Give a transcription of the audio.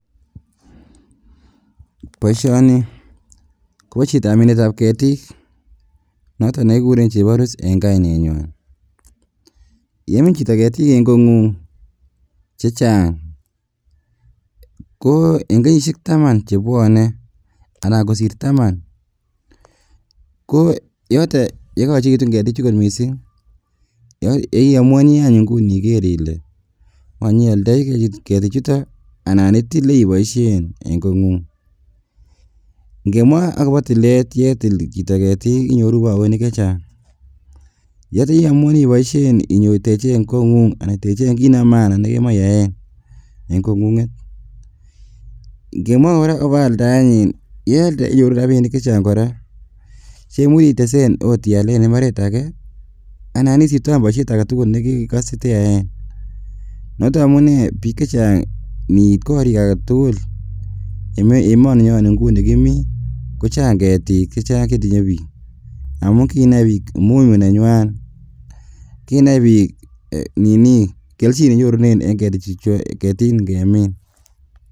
Boishoni Kobo chitab minetab ketiik noton nekikuren cheborus en kainenywan, yemin chito ketiik en Kong'ung chechang ko en kenyishek taman chebwone anan kosir taman ko yoton yekoyechekitun ketichuton mising iomuoni any ing'uni Iker ilee ing'wany ioldoi ketichuton anan itilee iboishen en Kong'ung, ng'emwa akobo tilet yetil chito ketiik inyoru chito ketik chechang, yoton yeiomuoni iboishen inyoi techen Kong'ung anan kiit nebo maana nekemoe iyaen en kong'ung'et, ing'emwa kora akobo aldaenyin ko yealde inyoru rabinik chechang kora cheimuche itesen oot ialen imbaret akee anan isiptoen boishet aketukul nekekose teyaen, noton amunee biik chechang niit korik aketukul emoni nyon nikimii kochang ketiik chechang chetinye biik amun kinai biik umuhimu nenywan, kinai biik ninii kelchin nenyorunen en ketiik ing'emin.